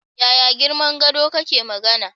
Yaya girman gado kake magana?